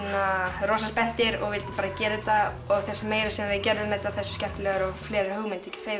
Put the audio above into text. rosa spenntir og vildum bara að gera þetta og því meira sem við gerðum þetta því skemmtilegra og fleiri hugmyndir